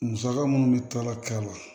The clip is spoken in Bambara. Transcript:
Musaka minnu bɛ taa k'a la